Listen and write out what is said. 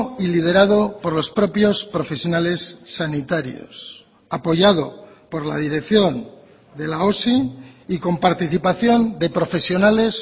y liderado por los propios profesionales sanitarios apoyado por la dirección de la osi y con participación de profesionales